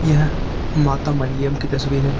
यह माता मरियम की तस्वीर है।